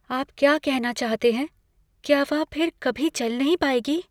आप क्या कहना चाहते हैं? क्या वह फिर कभी चल नहीं पाएगी?